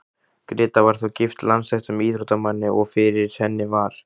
Gréta var þó gift landsþekktum íþróttamanni, og fyrir henni var